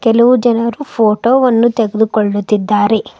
ಕೆಲವು ಜನರು ಫೋಟೋ ವನ್ನು ತೆಗೆದು ಕೊಳ್ಳುತ್ತಿದ್ದಾರೆ.